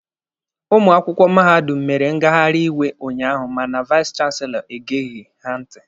Ụmụ akwụkwọ mahadum mere ngaghari iwe unyaahụ mana vais chanselọ egeghi ha ntị.